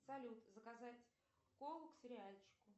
салют заказать колу к сериальчику